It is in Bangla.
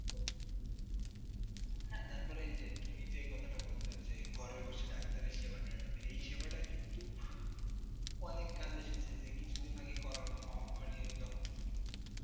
হ্যাঁ, তারপরে এই যে তুমি যে কথাটা বলছ যে ঘরে বসে doctor র সেবা নেওয়া যাবে, এই সেবাটা কিন্তু অনেক কাজে এসেছে। কিছুদিন আগে করোনা মহামারি যখন